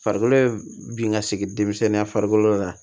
Farikolo bin ka sigi denmisɛnninya farikolo la